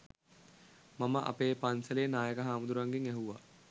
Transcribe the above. මම අපේ පන්සලේ නායක හාමුදුරුවන්ගෙන් ඇහුවා